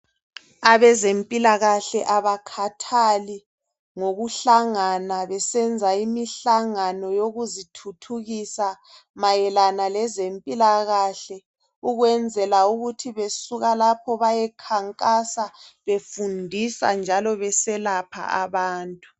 Abeze mpilakahle abakhathali ngokuhlangana besenza imihlangano yokuzithuthukisa mayelana lezempilakahle, ukwenzela ukuthi besuka lapho bayekhankasa befundisa njalo beselapha abanye